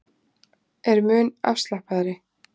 Er mun afslappaðri